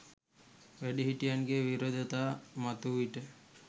වැඩිහිටියන්ගෙන් විරෝධතා මතුවූ විට,